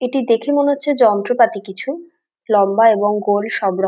এটি দেখে মনে হচ্ছে যন্ত্রপাতি কিছু লম্বা এবং গোল সবর --